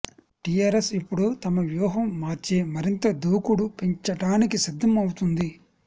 TRS ఇప్పుడు తమ ప్యూహం మార్చి మరింత దూకుడు పెంచడానికి సిద్దం అవుతుంది